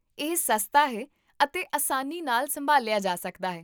ਇਹ ਸਸਤਾ ਹੈ ਅਤੇ ਆਸਾਨੀ ਨਾਲ ਸੰਭਾਲਿਆ ਜਾ ਸਕਦਾ ਹੈ